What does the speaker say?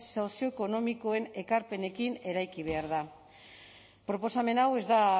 sozioekonomikoen ekarpenekin eraiki behar da proposamen hau ez da